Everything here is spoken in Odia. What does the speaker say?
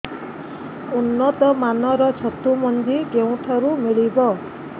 ଉନ୍ନତ ମାନର ଛତୁ ମଞ୍ଜି କେଉଁ ଠାରୁ ମିଳିବ